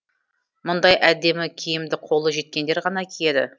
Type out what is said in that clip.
мұндай әдемі киімді қолы жеткендер ғана киеді